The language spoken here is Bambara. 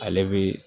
Ale bi